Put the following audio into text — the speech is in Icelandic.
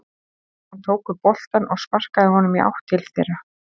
Hann tók upp boltann og sparkaði honum í átt til þeirra.